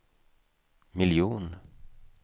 miljon